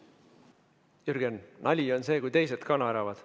Jürgen, nali on see, kui teised ka naeravad.